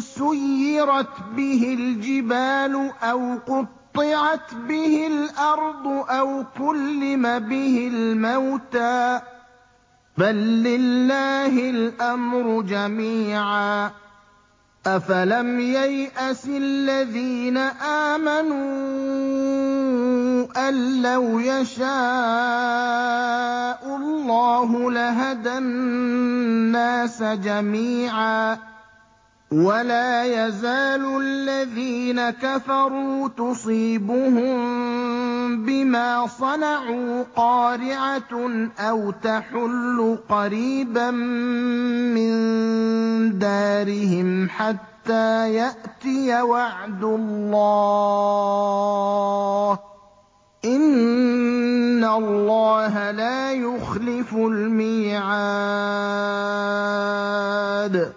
سُيِّرَتْ بِهِ الْجِبَالُ أَوْ قُطِّعَتْ بِهِ الْأَرْضُ أَوْ كُلِّمَ بِهِ الْمَوْتَىٰ ۗ بَل لِّلَّهِ الْأَمْرُ جَمِيعًا ۗ أَفَلَمْ يَيْأَسِ الَّذِينَ آمَنُوا أَن لَّوْ يَشَاءُ اللَّهُ لَهَدَى النَّاسَ جَمِيعًا ۗ وَلَا يَزَالُ الَّذِينَ كَفَرُوا تُصِيبُهُم بِمَا صَنَعُوا قَارِعَةٌ أَوْ تَحُلُّ قَرِيبًا مِّن دَارِهِمْ حَتَّىٰ يَأْتِيَ وَعْدُ اللَّهِ ۚ إِنَّ اللَّهَ لَا يُخْلِفُ الْمِيعَادَ